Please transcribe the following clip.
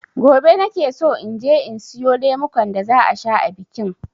Gobe nakeso inje in siyo lemukan da za a sha a bikin.